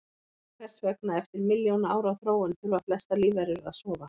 Hvers vegna, eftir milljóna ára þróun, þurfa flestar lífverur að sofa?